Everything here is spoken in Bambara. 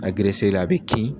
a bɛ kin.